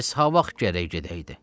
Pes ha vaxt gərək gedəydi?